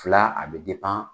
Fila a bɛ